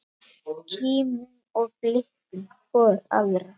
Kímum og blikkum hvor aðra.